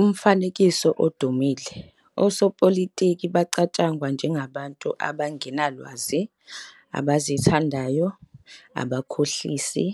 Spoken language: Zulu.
Emfanekisweni odumile, osopolitiki bacatshangwa njengabantu abangenalwazi, abazithandayo, abakhohlisi,